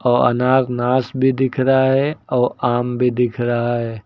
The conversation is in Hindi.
और अन्नानास भी दिख रहा है और आम भी दिख रहा है।